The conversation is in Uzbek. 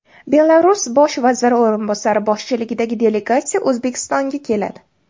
Belarus bosh vaziri o‘rinbosari boshchiligidagi delegatsiya O‘zbekistonga keladi.